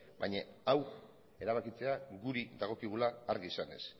baina hau erabakitzea gure dagokigula argi izanez